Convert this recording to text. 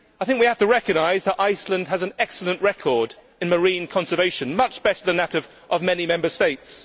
We have to recognise that Iceland has an excellent record in marine conservation much better than that of many Member States.